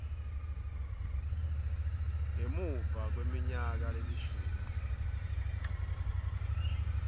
ngemuva kweminyaka lelishumi